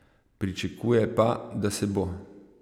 Pričakuje pa, da se bo.